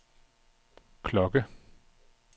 klokke